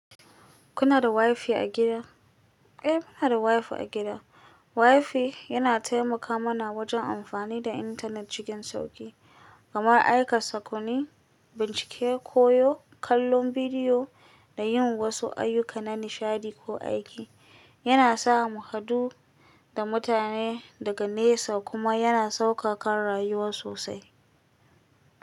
Kuna da WiFi a gida? Eh, muna da WiFi a gida. WiFi yana taimaka mana wajen amfani da intanet cikin sauƙi, kaman aika sakonni, bincike koyo, kallon bidiyo da yin wasu ayyuka na nishaɗi ko aiki. Yana sa mu haɗu da mutane daga nesa kuma yana sauƙaƙa rayuwa sosai.